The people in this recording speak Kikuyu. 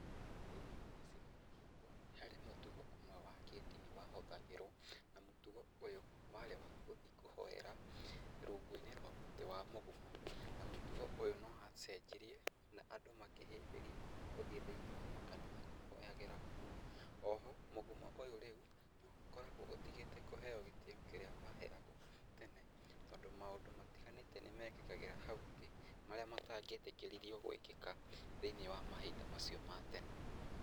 Thĩ-inĩ wa gĩcigo-inĩ gitũ, harĩ mũtugo ũmwe wa kĩdini wahũthagĩrwo na mũtugo ũyũ warĩ wa gũthiĩ kũhoera rungu-inĩ rwa mũtĩ wa mũgumo, na mũtugo ũyũ nĩ wacenjirie na andũ makĩhĩmbĩria gũthiĩ thĩ-inĩ wa makanitha kũhoyagĩra kuo, O ho mũgumo ũyũ rĩu nĩ wakoragwo ũtigĩte kũheo gĩtĩo kĩrĩa waheagwo tene tondũ maũndũ matiganĩte nĩ mekĩkagĩra hau thĩ, marĩa matangĩetĩkĩririo gwĩkĩka, thĩ-inĩ wa mahinda macio ma tene.